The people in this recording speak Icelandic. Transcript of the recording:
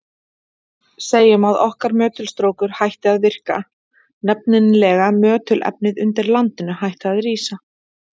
Segjum að okkar möttulstrókur hætti að virka, nefnilega möttulefnið undir landinu hætti að rísa.